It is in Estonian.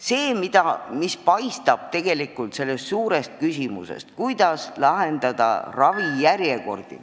See, mis paistab tegelikult välja selle suure küsimuse tagant, kuidas lühendada ravijärjekordi ...